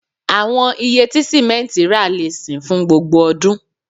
Awọn iye ti simenti ra le sin fun gbogbo odun